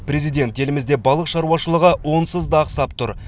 президент елімізде балық шаруашылығы онсыз да ақсап тұр